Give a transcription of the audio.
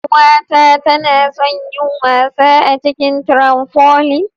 Yar'uwata tana son yin wasa a cikin "trampoline".